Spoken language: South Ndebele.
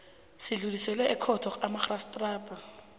sidluliselwe ekhotho kamarhistrada